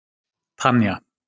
Tanja